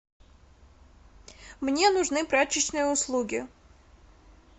мне нужны прачечные услуги